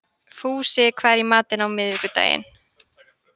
Fúsi, hvað er í matinn á miðvikudaginn?